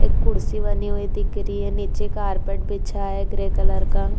एक कुर्सी बनी हुई दिख रही है। नीचे कारपेट बिछा है ग्रे कलर का।